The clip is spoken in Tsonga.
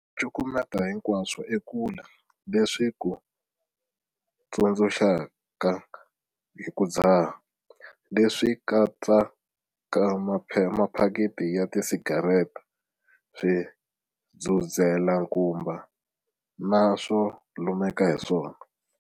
Cukumeta hinkwaswo ekule leswi swi ku tsundzuxaka hi ku dzaha. Leswi swi katsa maphakiti ya tisigarete, swidzudzelankuma na swo lumeka hi swona.